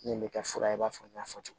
Min bɛ kɛ fura i b'a fɔ n y'a fɔ cogo min